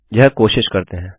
यह कोशिश करते हैं